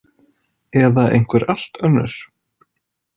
Eða einhver allt önnur.